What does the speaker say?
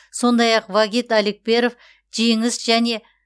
сондай ақ вагит алекперов жеңіс және